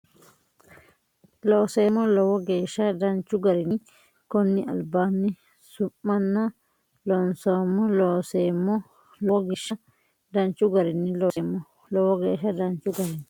Looseemmo Lowo geeshsha danchu garinni konni albaanni su manna loonsoommo Looseemmo Lowo geeshsha danchu garinni Looseemmo Lowo geeshsha danchu garinni.